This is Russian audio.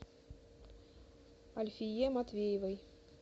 альфие матвеевой